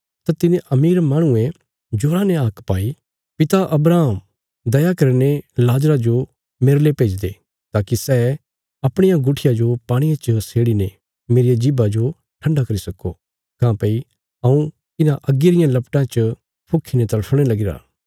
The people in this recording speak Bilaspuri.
तां तिने अमीर माहणुये जोरा ने हाक पाई पिता अब्राहम दया करीने लाजरा जो मेरले भेज्जी दे ताकि सै अपणिया गुट्ठियां जो पाणिये च सेड़ीने मेरिया जीभा जो ठण्डा करी सक्को काँह्भई हऊँ इन्हां अग्गी रियां लपटां च फुक्खीने तड़फणे लगीरा